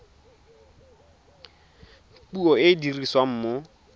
puo e e dirisiwang mo